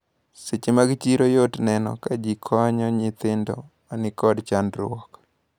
Seche mag chiro yot neno kajikonyo nyithindo manikod chandruok.